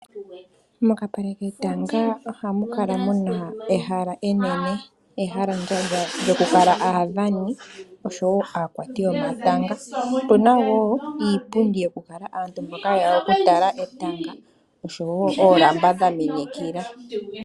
Mokapale ketanga ohamukala muna ehala enene, ehalalandjandja lyokula aadhani oshowo aakwati yomatanga. Opuna wo iipundi yokukala aantu mboka yeya okutala etanga osho wo oolamba dha minikila.